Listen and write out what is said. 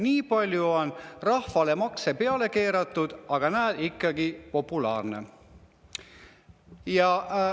Nii palju on rahvale makse peale keeratud, aga näe, ikkagi populaarne!